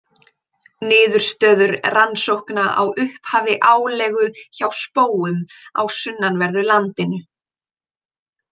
Niðurstöður rannsókna á upphafi álegu hjá spóum á sunnanverðu landinu.